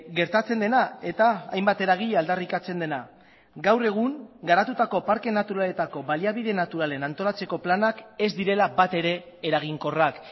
gertatzen dena eta hainbat eragile aldarrikatzen dena gaur egun garatutako parke naturaletako baliabide naturalen antolatzeko planak ez direla bat ere eraginkorrak